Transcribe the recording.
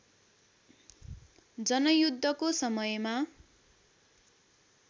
जनयुद्धको समयमा